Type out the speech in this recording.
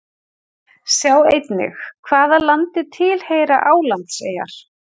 Sjá einnig: Hvaða landi tilheyra Álandseyjar?